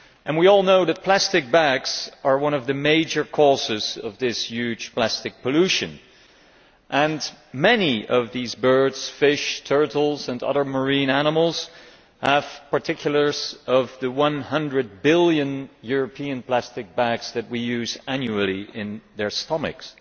We all know that plastic bags are one of the major causes of this huge plastic pollution, and many of these birds, fish, turtles and other marine animals have fragments of the 100 billion European plastic bags that we use annually in their stomachs.